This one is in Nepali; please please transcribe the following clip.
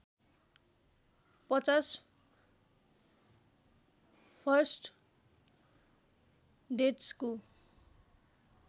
५० फर्स्ट डेट्सको